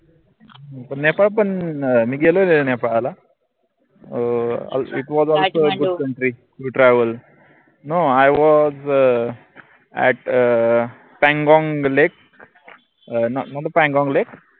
नेपाळ पन अं मी गेलेलोय नेपाळला अं it totravelnoIwas um at um Pangong lake um nota Pangong lake